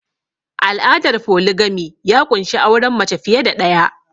Al'adar foligami ya ƙunshi auren mace fiye da ɗaya